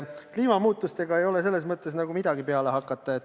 Kliimamuutustega ei ole selles mõttes nagu midagi peale hakata.